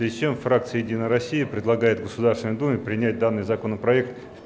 причём фракция единая россия предлагает государственной думе принять данный законопроект